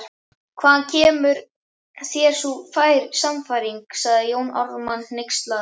Hvaðan kemur þér sú sannfæring, sagði Jón Ármann hneykslaður